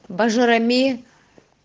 боржоми